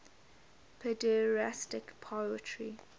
pederastic poetry